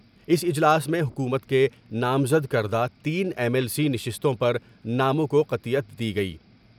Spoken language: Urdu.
اس اجلاس میں حکومت کے نامزد کردہ تین ایم ایل سی نشستوں پر ناموں کو قطعیت دی گئی ۔